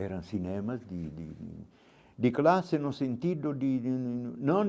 Eram cinemas de de de classe, no sentido de de não.